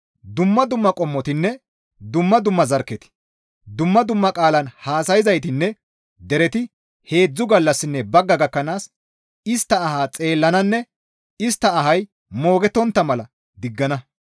Dumma dumma qommotinne dumma dumma zarkketi, dumma dumma qaalan haasayzaytinne dereti heedzdzu gallassinne bagga gakkanaas istta ahaa xeellananne istta ahay moogettontta mala diggana.